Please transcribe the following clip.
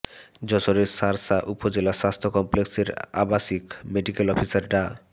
যশোরের শার্শা উপজেলা স্বাস্থ্য কমপ্লেক্সের আবাসিক মেডিকেল অফিসার ডা